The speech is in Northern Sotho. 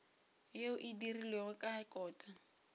yeo e dirilwego ka kota